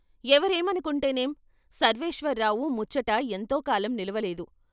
ఎవరేమను కుంటేనేం సర్వేశ్వరరావు ముచ్చట ఎంతోకాలం నిలవలేదు.